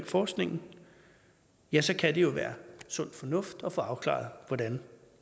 forskningen ja så kan det jo være sund fornuft at få afklaret hvordan